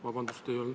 Vabandust!